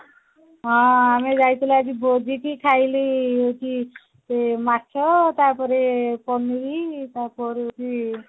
ହଁ ମୁଁ ଯାଇଥିଲି ଆଜି ଭୋଜିକୁ ଖାଇଲି କି ସେ ମାଛ ତାପରେ ପନିରି ତାପରେ ହଉଛି